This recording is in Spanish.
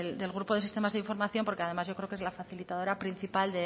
del grupo de sistemas de información porque además yo creo que es la facilitadora principal